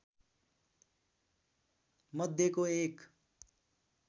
मध्येको एक